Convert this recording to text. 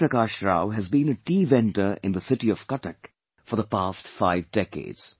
Prakash Rao has been a tea vendor in the city of Cuttack forthe past five decades